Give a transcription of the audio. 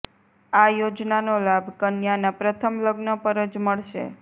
આ યોજનાનો લાભ કન્યાના પ્રથમ લગ્ન પર જ મળશે